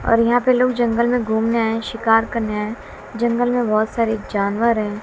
और यहां पे लोग जंगल में घूमने आए शिकार करने आएं जंगल में बहोत सारे जानवर है।